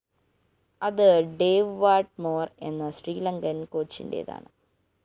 അത് Dave Whatmore‍ എന്ന ശ്രീലങ്കന്‍ കോച്ചിന്റേതാണ്